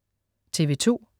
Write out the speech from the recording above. TV2: